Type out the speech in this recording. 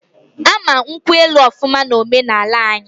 Ama nkwu elu ofuma na ome na ala anyii